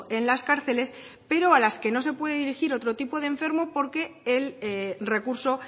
en las cárceles pero a las que no se puede erigir otro tipo de enfermo porque el recurso